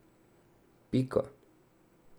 Pika.